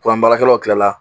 baarakɛlaw Kila la